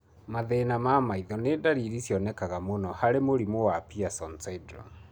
Mathĩna ma maitho nĩ ndariri cionekanaga mũno harĩ mũrimũ wa Pierson syndrome.